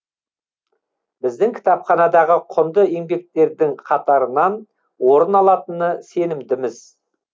біздің кітапханадағы құнды еңбектердің қатарынан орын алатынына сенімдіміз